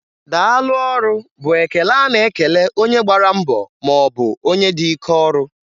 Daalụ ọrụ,' bụ ekele a na-ekele onye gbara mbọ maọbụ onye dị ike ọrụ